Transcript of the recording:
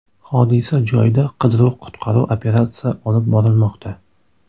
Hodisa joyida qidiruv-qutqaruv operatsiya olib borilmoqda.